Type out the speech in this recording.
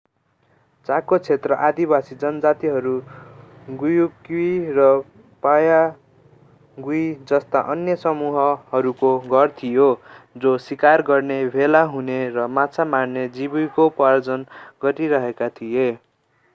चाको क्षेत्र आदिवासी जनजातिहरू गुयक्युरी र पायागुईजस्ता अन्य समूहहरूको घर थियो जो शिकार गर्ने भेला हुने र माछा मार्दै जीविकोपार्जन गरिरहेका थिए